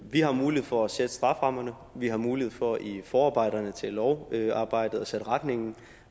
vi har mulighed for at sætte strafferammerne vi har mulighed for i forarbejderne til lovarbejdet at sætte retningen